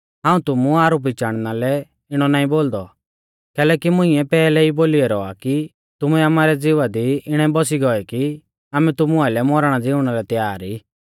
हाऊं तुमु आरोपी चाणना लै इणौ नाईं बोलदौ कैलैकि मुंइऐ पैहलै ई बोली ऐरौ आ कि तुमैं आमारै ज़िवा दी इणै बौसी गोऐ कि आमै तुमु आइलै मौरणाज़िउणा लै तयार ई